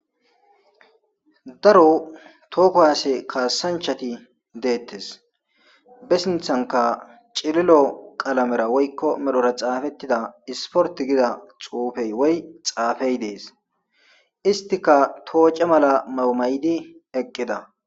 daro tooko haase kaassanchati deettes besinthanka cililo qalamera woykko medhora xaafettida isporti gida xuufey woy xaafey dees istika tooce mala mawu mayidi eqqida